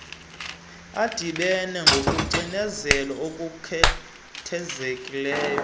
adibeneyo ngokucindezela okukhethekileyo